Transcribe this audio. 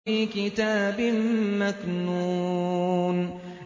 فِي كِتَابٍ مَّكْنُونٍ